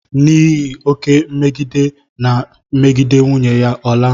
N'ihi oké mmegide ọ na-emegide nwunye ya, ọ laa.